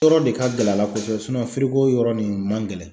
Yɔrɔ de ka gɛlɛn a la kosɛbɛ yɔrɔ nin man gɛlɛn